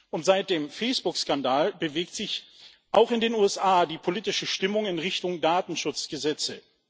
Und seit dem Facebook Skandal bewegt sich auch in den USA die politische Stimmung in Richtung Datenschutzgesetze.